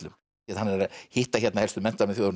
hann er að hitta hér helstu menntamenn þjóðarinnar